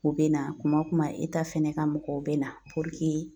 U be na kuma o kuma fɛnɛ ka mɔgɔw bɛ na